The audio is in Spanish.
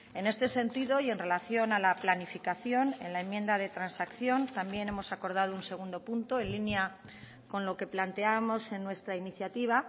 en este sentido y en relación a la planificación en la enmienda de transacción también hemos acordado un segundo punto en línea con lo que planteábamos en nuestra iniciativa